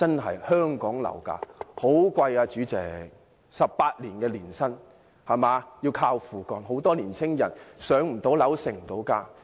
代理主席 ，18 年的年薪，還要"靠父幹"；很多年青人不能"上樓"，無法成家。